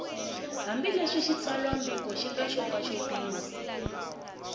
hambileswi xitsalwambiko xi nga xopaxopiwa